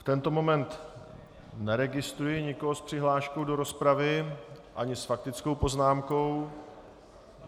V tento moment neregistruji nikoho s přihláškou do rozpravy ani s faktickou poznámkou.